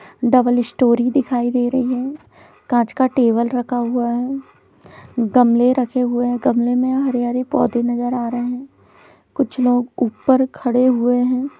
Double storey दिखाई दे रही है कांच का टेबल रखा हुआ है गमले रखे हुए है गमले मे हरे- हरे पोधे नजर आ रहे है कुछ लोग ऊपर खड़े हुए है।